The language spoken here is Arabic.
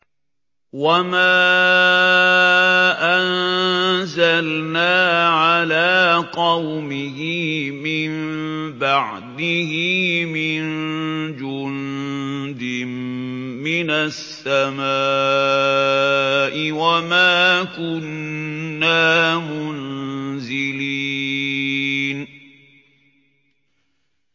۞ وَمَا أَنزَلْنَا عَلَىٰ قَوْمِهِ مِن بَعْدِهِ مِن جُندٍ مِّنَ السَّمَاءِ وَمَا كُنَّا مُنزِلِينَ